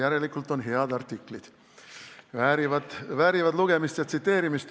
Järelikult on head artiklid, väärivad lugemist ja tsiteerimist.